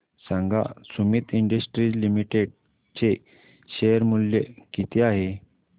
सांगा Sumeet industries limited चे share मूल्य किती आहे